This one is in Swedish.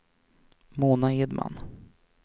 Mona Edman